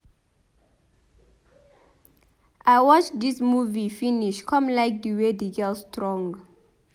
I watch dis movie finish come like the way the girl strong.